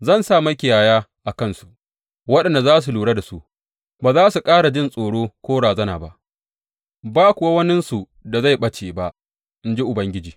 Zan sa makiyaya a kansu waɗanda za su lura da su, ba za su ƙara jin tsoro ko razana ba, ba kuwa waninsu da zai ɓace, in ji Ubangiji.